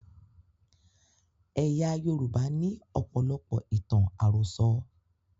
Ẹ̀yà Yorùbá ní ọ̀pọ̀lọpọ̀ ìtàn àròsọ.